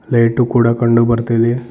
Light ಕೂಡ ಕಂಡು ಬರ್ತಾ ಇದೆ.